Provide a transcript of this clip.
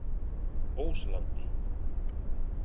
Óslandi